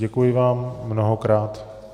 Děkuji vám mnohokrát.